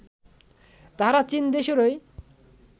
তাহারা চীন দেশেরই